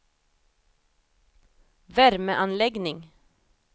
värmeanläggning